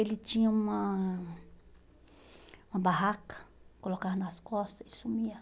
Ele tinha uma uma barraca, colocava nas costas e sumia.